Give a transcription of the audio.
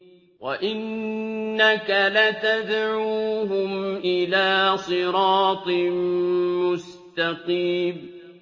وَإِنَّكَ لَتَدْعُوهُمْ إِلَىٰ صِرَاطٍ مُّسْتَقِيمٍ